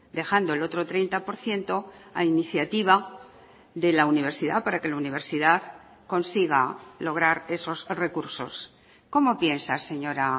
dejando el otro treinta por ciento a iniciativa de la universidad para que la universidad consiga lograr esos recursos cómo piensa señora